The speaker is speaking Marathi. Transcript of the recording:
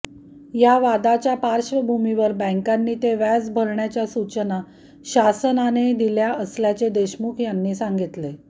या वादाच्या पार्श्वभूमीवर बँकांनी ते व्याज भरण्याच्या सूचना शासनाने दिल्या असल्याचे देशमुख यांनी सांगितले